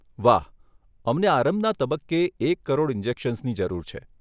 વાહ, અમને આરંભના તબક્કે એક કરોડ ઇન્જેક્શન્સની જરૂર છે.